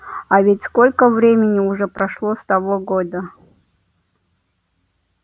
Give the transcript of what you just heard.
а ведь сколько времени уже прошло с того года